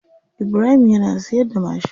Ibrahim yana siyarda mashin.